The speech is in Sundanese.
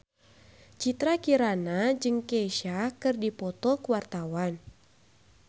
Citra Kirana jeung Kesha keur dipoto ku wartawan